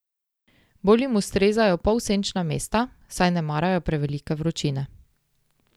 Bolj jim ustrezajo polsenčna mesta, saj ne marajo prevelike vročine.